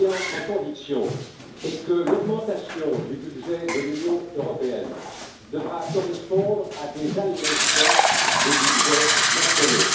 Ma conviction est que l'augmentation du budget de l'Union européenne devra correspondre à des allégements des budgets nationaux.